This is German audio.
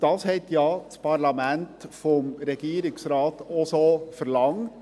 Dies hat ja das Parlament vom Regierungsrat so verlangt.